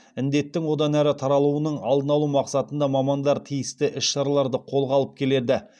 індеттің одан әрі таралуының алдын алу мақсатында мамандар тиісті іс шараларды қолға алып келеді